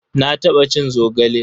Na taɓa cin zogale.